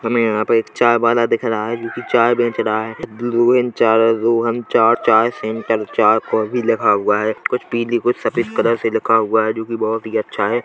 हमें यहाँ पर एक चाय वाला दिख रहा है जो कि चाय बेच रहा है चाय रोहन चार चाय सेंटर है चाय कॉफी लिखा हुआ है कुछ पीली कुछ सफ़ेद कलर से लिखा हुआ है जो की बहुत अच्छा है।